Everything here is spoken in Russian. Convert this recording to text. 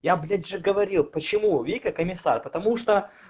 я блять уже говорил почему вика комиссар потому что